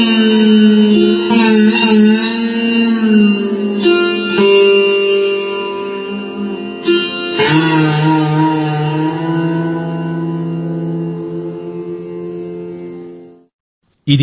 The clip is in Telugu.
సౌండ్ క్లిప్ 21 సెకన్లు వాయిద్యం సుర్ సింగార్ కళాకారుడు జాయ్దీప్ ముఖర్జీ